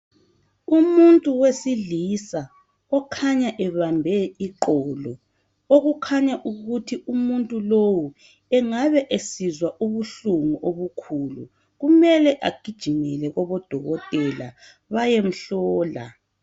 Umuntu wesilisa okhanya ebambe iqolo okukhanya ukuthi umuntu lowo engabe esizwa ubuhlungu obukhulu kumele agijimele kubo dokotela bayemhlola